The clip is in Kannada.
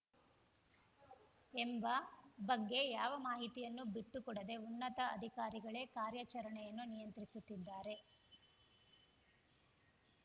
ಎಂಬ ಬಗ್ಗೆ ಯಾವ ಮಾಹಿತಿಯನ್ನೂ ಬಿಟ್ಟುಕೊಡದೆ ಉನ್ನತ ಅಧಿಕಾರಿಗಳೇ ಕಾರ್ಯಾಚರಣೆಯನ್ನು ನಿಯಂತ್ರಿಸುತ್ತಿದ್ದಾರೆ